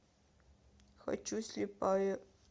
хочу слепая